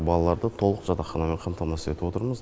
балаларды толық жатақханамен қапмтамасыз етіп отырмыз